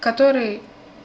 который